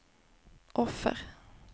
offer